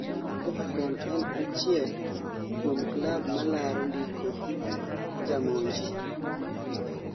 everton en achiel kuom klab malaro ndiko jamonji